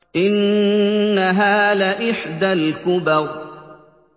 إِنَّهَا لَإِحْدَى الْكُبَرِ